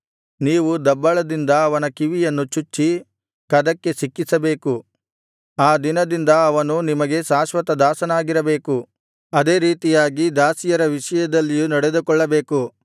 ನೀವು ದಬ್ಬಳದಿಂದ ಅವನ ಕಿವಿಯನ್ನು ಚುಚ್ಚಿ ಕದಕ್ಕೆ ಸಿಕ್ಕಿಸಬೇಕು ಆ ದಿನದಿಂದ ಅವನು ನಿಮಗೆ ಶಾಶ್ವತ ದಾಸನಾಗಿರಬೇಕು ಅದೇ ರೀತಿಯಾಗಿ ದಾಸಿಯರ ವಿಷಯದಲ್ಲಿಯೂ ನಡೆದುಕೊಳ್ಳಬೇಕು